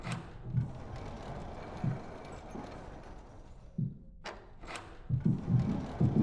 ka itiyo kod mpesa, ok onego iti kode mondo iwuond ji